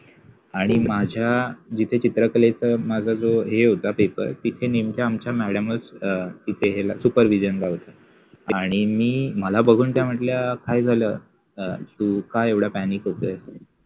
आणि माझ्या जिथे चित्रकलेच हे होता पेपर तिथे नेमके आमच्या मॅडमच सुपर दिजाईन काढत होत्या आणी मि मला बघुन त्या मटल्या काय झाल अ तु का एवढा पॅनिक होतय.